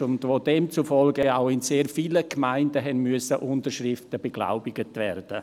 Demzufolge mussten auch in sehr vielen Gemeinden Unterschriften beglaubigt werden.